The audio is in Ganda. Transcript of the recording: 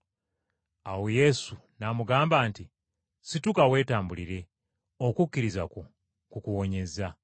Awo Yesu n’amugamba nti, “Situka weetambulire, okukkiriza kwo kukuwonyezza.”